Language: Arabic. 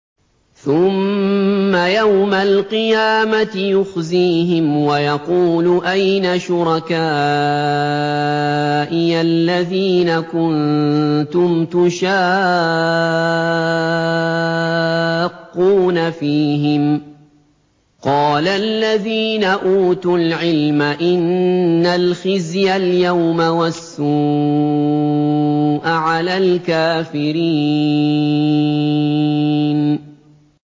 ثُمَّ يَوْمَ الْقِيَامَةِ يُخْزِيهِمْ وَيَقُولُ أَيْنَ شُرَكَائِيَ الَّذِينَ كُنتُمْ تُشَاقُّونَ فِيهِمْ ۚ قَالَ الَّذِينَ أُوتُوا الْعِلْمَ إِنَّ الْخِزْيَ الْيَوْمَ وَالسُّوءَ عَلَى الْكَافِرِينَ